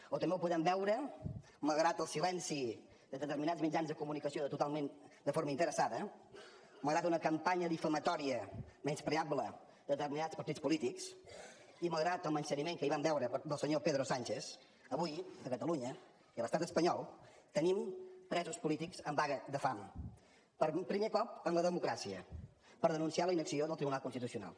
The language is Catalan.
o també ho podem veure malgrat el silenci de determinats mitjans de comunicació totalment de forma interessada malgrat una campanya difamatòria menyspreable de determinats partits polítics i malgrat el menysteniment que ahir vam veure del senyor pedro sánchez avui a catalunya i a l’estat espanyol tenim presos polítics en vaga de fam per primer cop en la democràcia per denunciar la inacció del tribunal constitucional